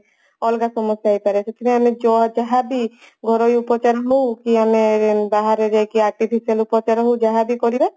ଅଲଗା ସମସ୍ଯା ହେଇପାରେ ସେଥିପାଇଁ ଆମେ ଯାହାବି ଘରୋଇ ଉପଚାର ହଉ କି ଆମେ ବାହାରେ ଯାଇ artificial ଉପଚାର ହଉ ଯାହାବି କଲେ